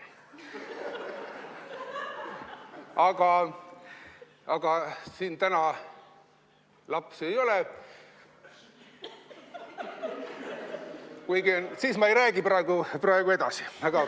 Aga kuigi siin täna lapsi ei ole, siis ma ei räägi praegu edasi.